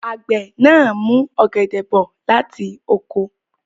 Àgbẹ̀ náà mú ọ̀gẹ̀dẹ̀ bọ̀ láti oko.